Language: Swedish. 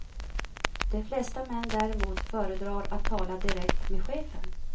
De flesta män däremot föredrar att tala direkt med chefen.